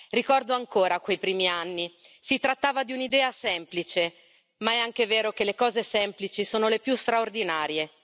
Ricordo ancora quei primi anni, si trattava di un'idea semplice, ma è anche vero che le cose semplici sono le più straordinarie.